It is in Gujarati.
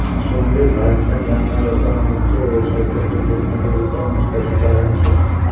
સુમરી ભાલસન ગામના લોકોનો મુખ્ય વ્યવસાય ખેતી ખેતમજૂરી તેમ જ પશુપાલન છે